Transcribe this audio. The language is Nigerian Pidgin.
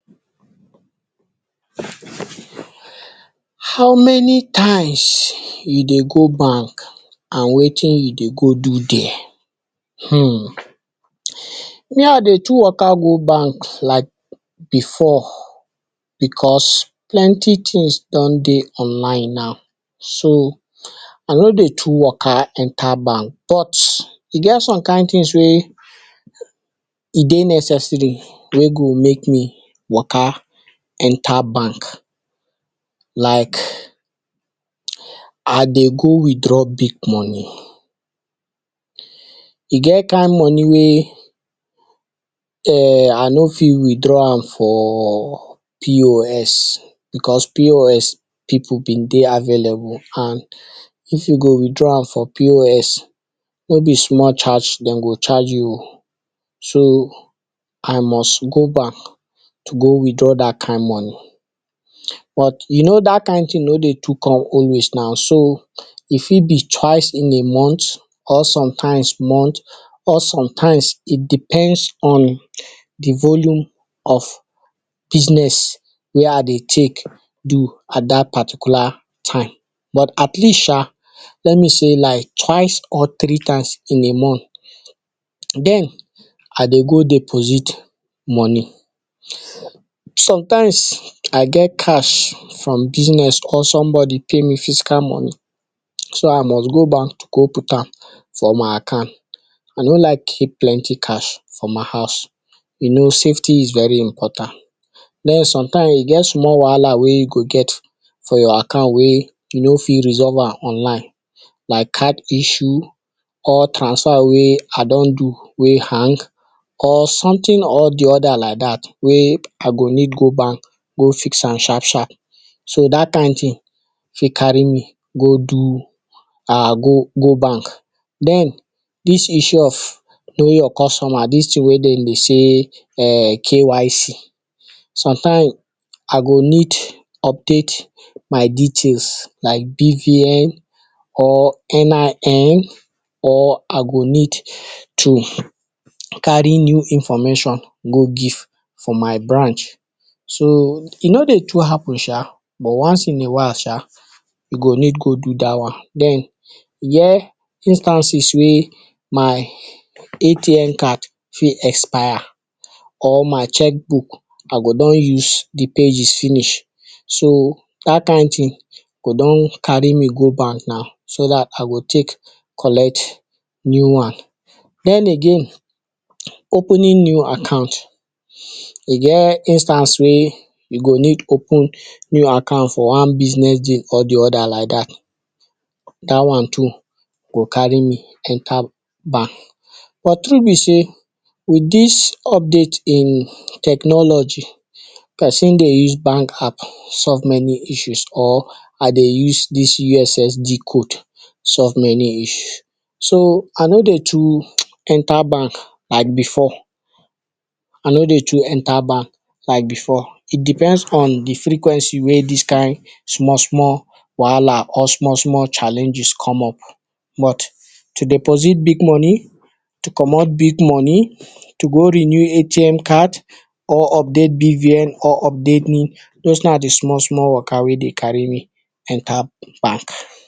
how many times you dey go bank and wetin you dey go do there? um me I dey too waka go bank like before because plenty things don dey online now so I no dey too waka enter bank but e get some kind things wey e dey necessary wey go make me waka enter bank like I dey go withdraw big money. E get kind money wey I no fit withdraw am for pos because pos pipu been dey available and if you go withdraw am from pos no be small charge dem go charge you um so I must go bank, to go withdraw dat kind money, but you know dat kind thing no dey too come always na so e fit be twice in a month or sometimes month or sometimes e depends on de volume of business wey I dey take do at dat particular time but at least sha let me say like twice or three times in a month. Den I dey go deposit money, sometimes I get cash some business or somebody pay me physical money so I must go bank to go put am for my account I no like keep plenty cash for my house. You know safety is very important. Den sometimes e get small wahala wey you go get for your account wey you no fit resolve am online like card issue, or transfer wey I don do wey hang or something or de other like dat, wey I go need go bank go fix am sharp sharp. So dat kind thing fit carry me go do I go bank. Den dis issue of knowing your customer dis thing wey dem dey sey KYC sometimes I go need update my details like BVN, or NIN or I go need to carry new information go give for my branch so e no dey too happen sha but once in a while sha you go need go do dat one. Den e get instances wey be sey my ATM card fit expire or my cheques book I go don use de pages finish so dat kind thing go don carry me go bank na so dat I go take collect new one. Den again opening new account e get instance wey you go need open new account for one business deal or de other like dat, dat one too go carry me enter bank. But true be sey with dis update in technology person dey use bank app solve many issues or I dey use dis ussd code solve many issues. So I no dey too enter bank like before. I no dey too enter bank like before. E depend on de frequency wey dis kind small small wahala or small challenges come up but to deposit big money, to commot big money to go renew ATM card or update BVN or update or update NIN those na de small small waka wey dey carry me enter bank.